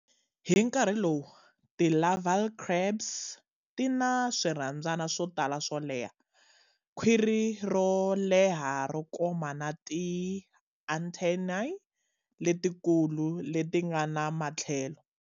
Hi nkarhi lowu, ti larval crabs tina swirhabyani swotala swo leha, khwiri ro leha ro koma na ti antennae letikulu letingana matlhelo.